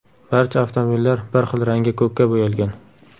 Barcha avtomobillar bir xil rangga ko‘kka bo‘yalgan.